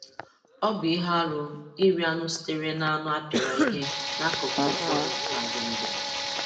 Ọ bụ ihe arụ iri anụ sitere n'anụ a pịara ihe n'akụkụ ụfọdụ na Gombe.